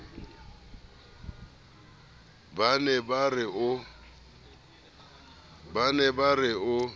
ba ne ba re o